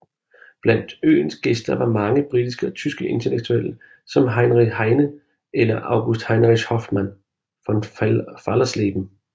Blandt øens gæster var mange britiske og tyske intellektuelle som Heinrich Heine eller August Heinrich Hoffmann von Fallersleben